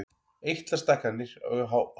Eitlastækkanir á hálsi.